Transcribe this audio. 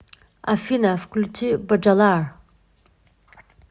афина включи боджалар